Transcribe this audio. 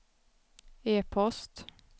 e-post